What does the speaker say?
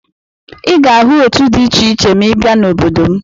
Ị ga-ahụ òtù dị iche iche ma ị bịa n'obodo m.